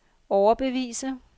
overbevise